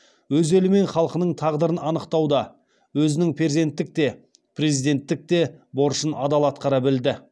өз елі мен халқының тағдырын анықтауда өзінің перзенттік те президенттік те борышын адал атқара білді